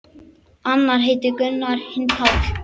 Annar heitir Gunnar, hinn Páll.